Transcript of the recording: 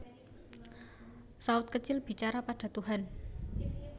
Saut kecil bicara pada Tuhan